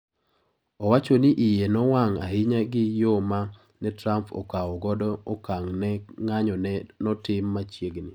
Owacho ni iye nowang' ahinya gi yo ma ne Trump okawo godo okang' ne ng'anyo ma notim machiegni.